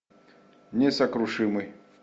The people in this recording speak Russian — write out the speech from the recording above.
несокрушимый